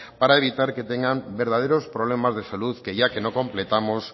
para evitar que tengan verdaderos problemas de salud que ya que no completamos